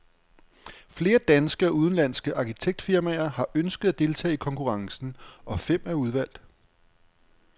Flere danske og udenlandske arkitektfirmaer har ønsket at deltage i konkurrencen, og fem er udvalgt.